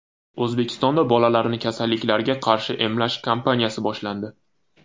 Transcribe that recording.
O‘zbekistonda bolalarni kasalliklarga qarshi emlash kampaniyasi boshlandi.